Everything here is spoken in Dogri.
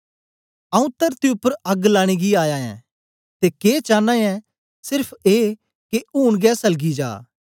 आऊँ तरती उपर अग्ग लाने गी आया ऐं ते के चांना ऐ सेर्फ ए के ऊन गै सलगी जा